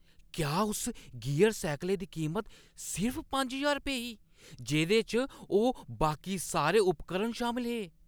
क्या उस गियर सैह्कलै दी कीमत सिर्फ पंज रपेऽ ही जेह्दे च ओह् बाकी सारे उपकरण शामल हे?